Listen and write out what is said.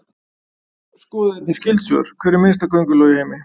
Skoðið einnig skyld svör: Hver er minnsta könguló í heimi?